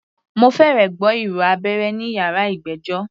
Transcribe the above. Mo fẹ́rẹ̀ gbọ́ ìró abẹ́rẹ́ ní yàrá ìgbẹ́jọ́.